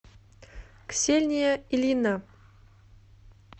ксения ильина